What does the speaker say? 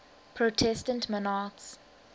protestant monarchs